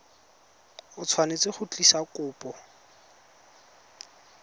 o tshwanetse go tlisa kopo